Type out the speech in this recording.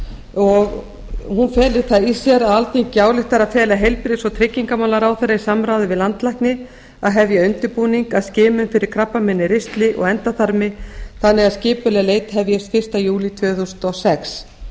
hún felur það í sér að alþingi ályktar að fela heilbrigðis og tryggingamálaráðherra í samráði við landlækni að hefja undirbúning að skimun fyrir krabbamein í ristli og endaþarmi þannig að skipuleg leit hefjist fyrsta júlí tvö þúsund og sex